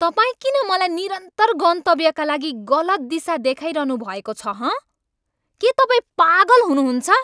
तपाईँ किन मलाई निरन्तर गन्तव्यका लागि गलत दिशा देखाइरहनु भएको छ हँ? के तपाईँ पागल हुनुहुन्छ?